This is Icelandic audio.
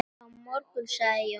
Á morgun sagði Jón.